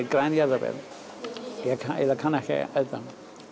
græn jarðaber en ég eiginlega kann ekki að elda